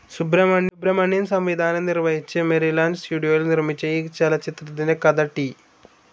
സുബ്രഹ്മണ്യം സംവിധാനം നിർവഹിച്ച് മെരിലാൻഡ് സ്റ്റുഡിയോയിൽ നിർമിച്ച ഈ ചലച്ചിത്രത്തിന്റെ കഥ ടി.